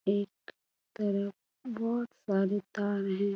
एक तरफ बहोत सारी तार हैं।